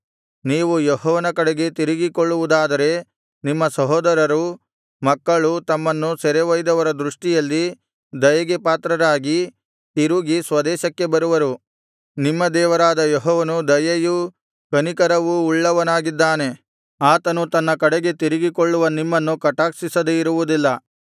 ನೀವು ಯೆಹೋವನ ಕಡೆಗೆ ತಿರುಗಿಕೊಳ್ಳವುದಾದರೆ ನಿಮ್ಮ ಸಹೋದರರೂ ಮಕ್ಕಳೂ ತಮ್ಮನ್ನು ಸೆರೆ ಒಯ್ದವರ ದೃಷ್ಟಿಯಲ್ಲಿ ದಯೆಗೆ ಪಾತ್ರರಾಗಿ ತಿರುಗಿ ಸ್ವದೇಶಕ್ಕೆ ಬರುವರು ನಿಮ್ಮ ದೇವರಾದ ಯೆಹೋವನು ದಯೆಯೂ ಕನಿಕರವೂ ಉಳ್ಳವನಾಗಿದ್ದಾನೆ ಆತನು ತನ್ನ ಕಡೆಗೆ ತಿರುಗಿಕೊಳ್ಳುವ ನಿಮ್ಮನ್ನು ಕಟಾಕ್ಷಿಸದೆ ಇರುವುದಿಲ್ಲ